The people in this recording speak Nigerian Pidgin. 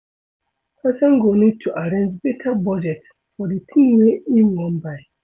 Person go need to arrange better budget for di thing wey im wan buy